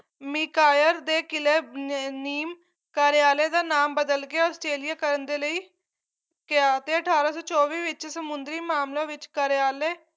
ਮਿਕਾਇਰ ਦੇ ਕਿਲ੍ਹੇ ਅਹ ਨੀਮ ਕਰਿਆਲੇ ਦਾ ਨਾਮ ਬਦਲਕੇ ਆਸਟ੍ਰੇਲੀਆ ਕਰਨ ਦੇ ਲਈ ਕਿਹਾ ਤੇ ਅਠਾਰਾਂ ਸੌ ਚੋਵੀ ਵਿੱਚ ਸਮੁੰਦਰੀ ਮਾਮਲਿਆਂ ਵਿੱਚ ਕਰਿਆਲੇ